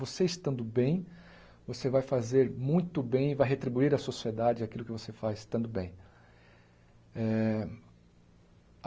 Você estando bem, você vai fazer muito bem e vai retribuir à sociedade aquilo que você faz estando bem. Eh